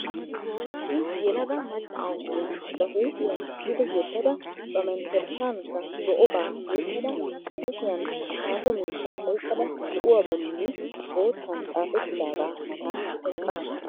Issi yelaga macca na'iya ba huuphiya duge yeddada ba menttershshankka zo'obaa tiyyettada ba kushiyan xaapo miishsha oyiqada zo'uwa bolli boottan xaapettidagaa matan eqqaasu.